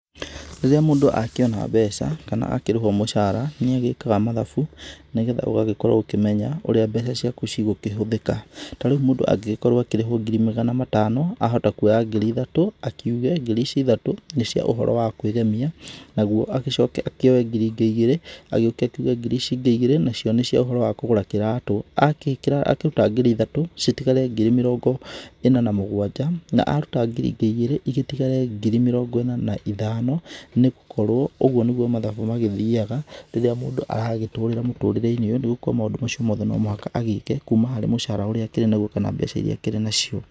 Rĩrĩa mũndũ akĩona mbeca kana akĩrĩhwo mũcara nĩ agĩkaga mathabu nĩgetha úgagíkorwo úkĩmenya ũrĩa mbeca ciaku cigũkĩhũthĩka. Ta reu mũndũ angĩgĩkorwo akĩrĩhwo ngiri magana matano, ahota kuoya ngiri ithatũ akiuge ngiri ici ithatũ nĩ cia ũhoro wa kwĩgemia naguo agĩcoke akĩoe ngiri ingĩ igĩrĩ agĩũke akiuge ngiri ici ingí igĩrĩ nacio nĩ cia ũhoro wa kũgũra kĩratũ. Agĩkĩra akĩruta ngiri ithatũ citigare ngiri mĩrongo ĩna na mũgwanja. Na aruta ngiri ingí igĩrĩ igĩtigare ngiri mĩrongo ĩna na ithano nĩ gũkorwo ũguo nĩguo mathabu magĩthiaga rĩrĩa mũndũ aragĩtũrĩra mũtũrĩre-inĩ ũyũ nĩ gũkorwo maũndũ macio mothe no muhaka agĩke kũma harĩ mũcara ũrĩa akĩrĩ naguo kana mbeca iria akĩrĩ nacio.